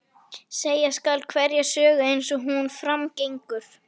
Segja skal hverja sögu eins og hún fram gengur.